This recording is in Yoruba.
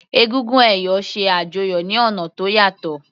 Egúngún ẹ̀yọ̀ ṣe àjọyọ̀ ní ọ̀nà tó yàtọ̀.